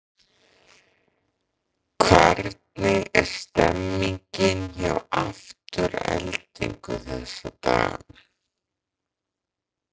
Hvernig er stemmningin hjá Aftureldingu þessa dagana?